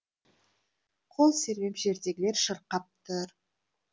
қол сермеп жердегілер шырқап тұр